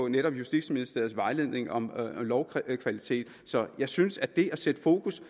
netop justitsministeriets vejledning om lovkvalitet så jeg synes at det at sætte fokus